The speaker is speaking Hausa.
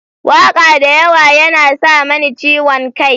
Waƙa da yawa yana sa mani ciwon kai.